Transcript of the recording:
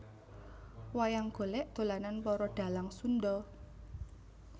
Wayang golek dolanan para dhalang Sunda